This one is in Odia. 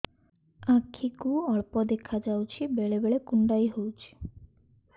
ଆଖି କୁ ଅଳ୍ପ ଦେଖା ଯାଉଛି ବେଳେ ବେଳେ କୁଣ୍ଡାଇ ହଉଛି